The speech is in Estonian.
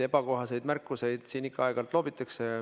Ebakohaseid märkusi siin ikka aeg-ajalt loobitakse.